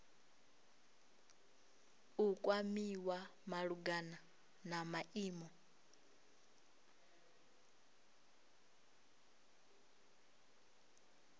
u kwamiwa malugana na maimo